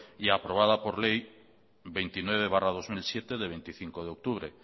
y aprobada por ley veintinueve barra dos mil siete de veinticinco de octubre